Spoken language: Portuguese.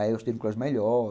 Aí eu estudei no clássico melhor.